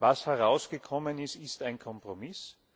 Was herausgekommen ist, ist ein Kompromiss.